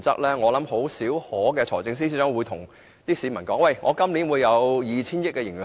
財政司司長甚少會告訴市民今年會有 2,000 億元盈餘。